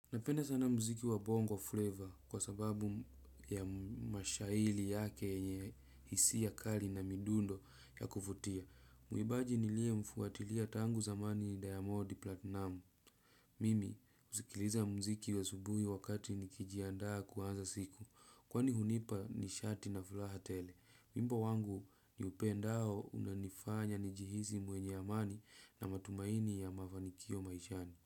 Napenda sana mziki wa bongo flavor kwa sababu ya mashaili yake yenye hisia kali na midundo ya kuvutia. Muimbaji niliemfuatilia tangu zamani Diamond Platinum. Mimi huzikiliza mziki asubuhi wakati nikijiandaa kuanza siku. Kwani hunipa nishati na furaha tele. Wimbo wangu niupendao unanifanya njihisi mwenye amani na matumaini ya mafanikio maishani.